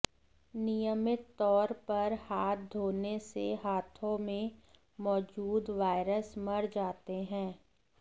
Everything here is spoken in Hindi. नियमित तौर पर हाथ धोने से हाथों में मौजूद वायरस मर जाते हैं